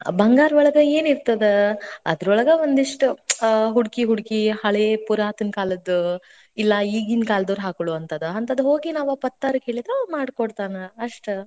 ಬಂಗಾರೊಳಗ ಏನಿರ್ತದ. ಅದ್ರೊಳಗ ಒಂದಿಷ್ಟ್ ಹುಡ್ಕಿ ಹುಡ್ಕಿ ಹಳೆ ಪುರಾತನ ಕಾಲದ್, ಇಲ್ಲಾ ಈಗೀನ ಕಾಲದವ್ರ್ ಹಾಕೊಳ್ಳೋವಂತದ್, ಅಂತದ್ ಹೋಗಿ ನಾವ್ ಆ ಪತ್ತಾರ್ಗ್ ಹೇಳಿದ್ರ ಮಾಡಿಕೊಡ್ತಾನ, ಅಸ್ಟ್.